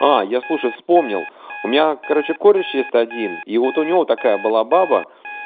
а я слушай вспомнил у меня короче коришь есть один и вот у него такая была баба